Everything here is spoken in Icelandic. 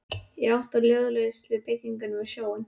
Í átt að ljósleitu byggingunni við sjóinn.